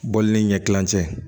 Bɔli ni ɲɛkililancɛ